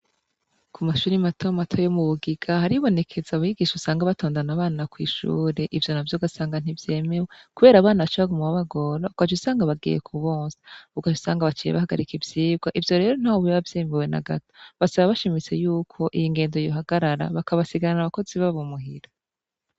Ku mashuri matamato yo mu bugiga haribonekeza abigisha usanga batondana abana kw'ishure, ivyo navyo ugasanga ntivyemewe, kubera abana baca bagamu babagora agaca usanga bagiye ku bonsa , ugaca usanga baciye bahagarika ivyirwa, ivyo rero ntaho biba vyemewe na gato basaba bashimitse yuko iyo ngendo yohagarara bakabasigarana abakozi babo umuhira.